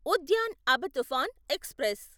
Udyan Abha Toofan express